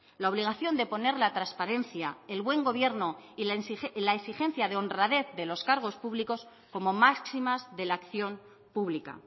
la obligación de poner la transparencia el buen gobierno y la exigencia de honradez de los cargos públicos como máximas de la acción pública